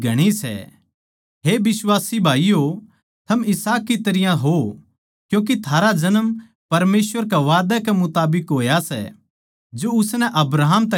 हे बिश्वासी भाईयो थम इसहाक की तरियां हो क्यूँके थारा जन्म परमेसवर के वादै कै मुताबिक होया सै जो उसनै अब्राहम तै करया सै